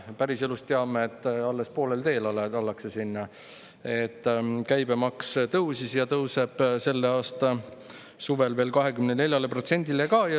Päriselus teame, et ollakse alles poolel teel sinna: käibemaks tõusis ja tõuseb selle aasta suvel veel 24%-le.